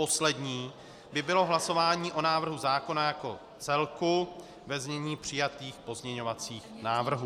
Poslední by bylo hlasování o návrhu zákona jako celku ve znění přijatých pozměňovacích návrhů.